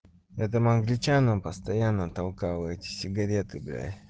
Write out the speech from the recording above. я там англичанам постоянно толкал эти сигареты бля